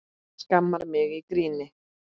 Skammar mig í gríni.